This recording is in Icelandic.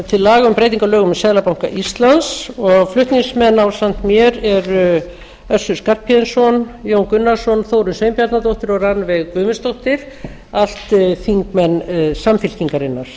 til laga um breyting á lögum um seðlabanka íslands og flutningsmenn ásamt mér eru össur skarphéðinsson jón gunnarsson þórunn sveinbjarnardóttir og rannveig guðmundsdóttir allt þingmenn samfylkingarinnar